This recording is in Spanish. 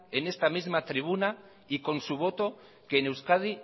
en esta misma tribuna y con su voto que en euskadi